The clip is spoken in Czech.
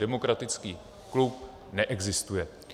Demokratický klub neexistuje.